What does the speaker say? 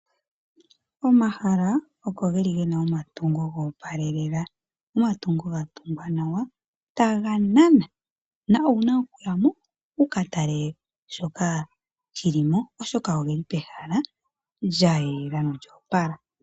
Omahala oko geli gena omatungo goopalelela, omatungo gatungwa nawa taga nana, na owuna oku yamo wukatele shoka shili mo oshoka ogeli pehala lyayela lyoopala.